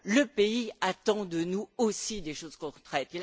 Le pays attend de nous aussi des choses concrètes.